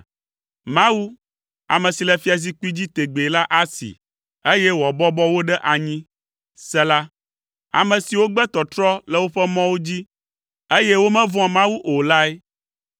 Mawu, ame si le fiazikpui dzi tegbee la asee, eye wòabɔbɔ wo ɖe anyi, Sela ame siwo gbe tɔtrɔ le woƒe mɔwo dzi, eye womevɔ̃a Mawu o lae.